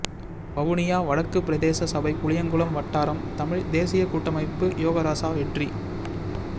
வவுனியா வடக்கு பிரதேசசபை புளியங்குளம் வட்டாரம் தமிழ் தேசியக்கூட்டமைப்பு யோகராசா வெற்றி